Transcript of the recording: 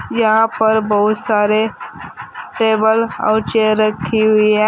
यहां पर बहुत सारे टेबल और चेयर रखी हुई है।